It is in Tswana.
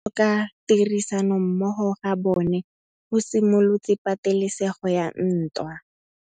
Go tlhoka tirsanommogo ga bone go simolotse patêlêsêgô ya ntwa.